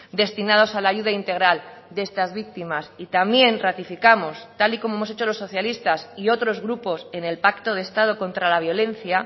destinados a la ayuda integral de estas víctimas y también ratificamos tal y como hemos hecho los socialistas y otros grupos en el pacto de estado contra la violencia